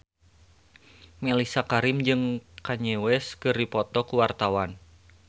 Mellisa Karim jeung Kanye West keur dipoto ku wartawan